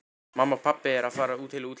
Mamma og pabbi eru að fara til útlanda.